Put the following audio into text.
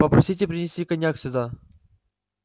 попросите принести коньяк сюда